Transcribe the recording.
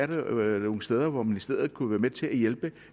der er nogle steder hvor ministeriet kunne være med til at hjælpe